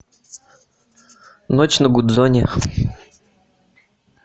ночь на гудзоне